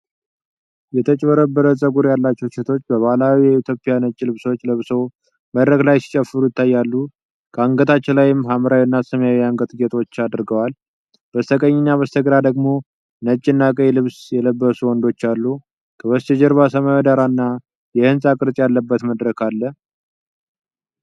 የተንጨባረረ ጸጉር ያላቸዉ ሴቶች በባህላዊ የኢትዮጵያ ነጭ ልብሶች ለብሰው መድረክ ላይ ሲጨፍሩ ይታያሉ። ከአንገታቸው ላይ ሐምራዊና ሰማያዊ የአንገት ጌጦች ተደርጓል። በስተቀኝና በስተግራ ደግሞ ነጭና ቀይ ልብስ የለበሱ ወንዶችም አሉ። ከበስተጀርባ ሰማያዊ ዳራ እና የህንጻ ቅርጽ ያለበት መድረክ አለ።